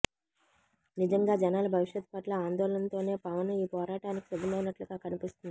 నిజంగా జనాల భవిష్యత్ పట్ల ఆందోళనతోనే పవన్ ఈ పోరాటానికి సిద్ధమైనట్లుగా కనిపిస్తోంది